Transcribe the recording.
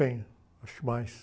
acho que mais.